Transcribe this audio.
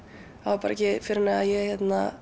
það var ekki fyrr en ég